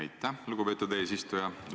Aitäh, lugupeetud eesistuja!